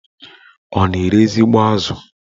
Ọ na-ere ezigbo azụ?